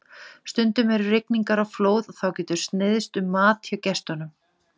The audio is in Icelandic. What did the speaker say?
Stundum eru rigningar og flóð og þá getur sneiðst um mat hjá gestunum.